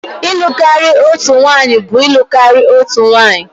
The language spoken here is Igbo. ịlụ karịa otu nwanyị na-alụ karịa otu nwunye